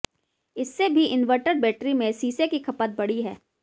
इससे भी inverter battery में सीसे की खपत बढ़ी है